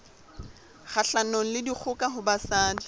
kgahlanong le dikgoka ho basadi